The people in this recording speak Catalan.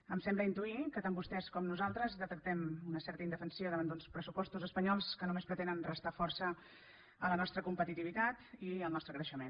em sembla intuir que tant vostès com nosaltres detectem una certa indefensió davant d’uns pressupostos espanyols que només pretenen restar força a la nostra competitivitat i al nostre creixement